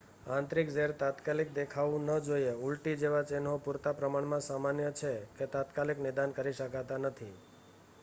આંતરિક ઝેર તાત્કાલિક દેખાવું ન જોઈએ ઊલટી જેવા ચિહ્નો પૂરતા પ્રમાણમાં સામાન્ય છે કે તાત્કાલિક નિદાન કરી શકાતા નથી